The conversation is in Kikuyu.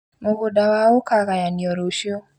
Mũgũnda wao ũkagayanio rũciũ